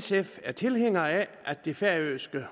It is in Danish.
sf er tilhænger af at det færøske